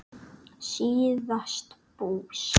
síðast bús.